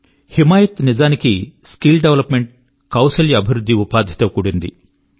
హిమాయత్ నిజానికి skill development కౌశల్య అభివృద్ధి మరియు ఉపాధి తో కూడినది